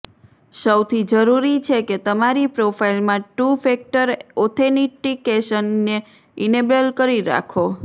સૌથી જરૂરી છે કે તમારી પ્રોફાઈલમાં ટૂ ફેક્ટર ઑથેનિટિકેશન ને ઈનેબલ કરી રાખો